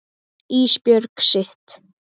Ísbjörg sitt.